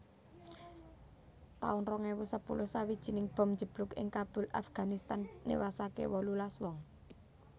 taun rong ewu sepuluh Sawijining bom njeblug ing Kabul Afganistan niwasaké wolulas wong